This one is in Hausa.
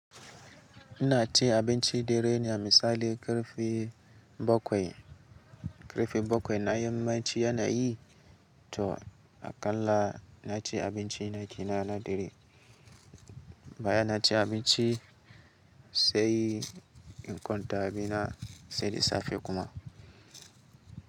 Ina ci abincin dare ne a misali ƙarfe bakwai. Ƙarfe bakwai na yamma ci yanayi to aƙalla na ci abinci na gida na dare. Baya na ci abinci sai in kwanta, bina sai da safe kuma.